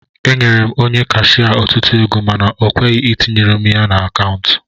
Enyere m Onye kashia otutu ego mana okweghi itinyere m ego na akaụntu